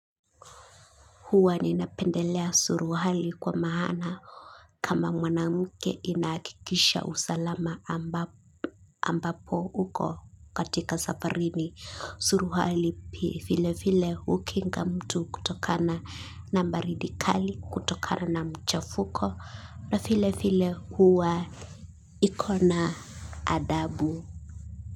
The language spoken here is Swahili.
Huwa ninapendelea suruali kwa maana kama mwanamke inahakikisha usalama ambapo uko katika safarini suruali vile vile hukinga mtu kutokana na baridi kali kutokana na mchafuko na vile vile huwa ikona adabu.